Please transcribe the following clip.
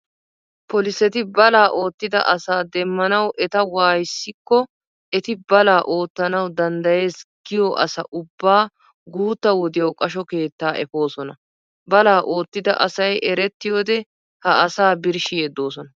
Poliseti balaa oottida asaa demmanawu eta waayissikko eti balaa oottaanawu danddayees giyo asa ubbaa guutta wodiyawu qasho keettaa efoosona. Balaa oottida asay erettiyoodee ha asaa birshshi yeddoosona.